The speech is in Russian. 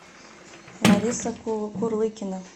лариса курлыкина